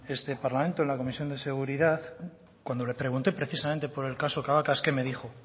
en este parlamento en la comisión de seguridad cuando le pregunté precisamente por el caso cabacas qué me dijo